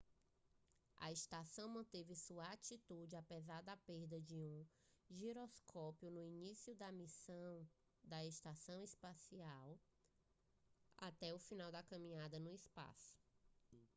a estação manteve sua atitude apesar da perda de um giroscópio no início da missão da estação espacial até o final da caminhada no espaço